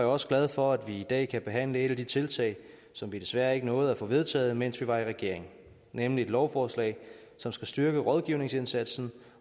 også glad for at vi i dag kan behandle et af de tiltag som vi desværre ikke nåede at få vedtaget mens vi var i regering nemlig et lovforslag som skal styrke rådgivningsindsatsen